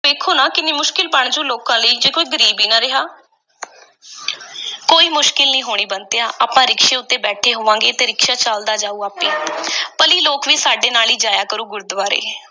ਵੇਖੋ ਨਾ ਕਿੰਨੀ ਮੁਸ਼ਕਿਲ ਬਣ ਜਾਊ ਲੋਕਾਂ ਲਈ ਜੇ ਕੋਈ ਗਰੀਬ ਹੀ ਨਾ ਰਿਹਾ ਕੋਈ ਮੁਸ਼ਕਿਲ ਨਹੀਂ ਹੋਣੀ ਬੰਤਿਆ, ਆਪਾਂ ਰਿਕਸ਼ੇ ਉੱਤੇ ਬੇਠੈ ਹੋਵਾਂਗੇ ਅਤੇ ਰਿਕਸ਼ਾ ਚੱਲਦਾ ਜਾਊਗਾ ਆਪੇ, ਭਲੀ ਲੋਕ ਵੀ ਸਾਡੇ ਨਾਲ ਹੀ ਜਾਇਆ ਕਰੂ ਗੁਰਦੁਆਰੇ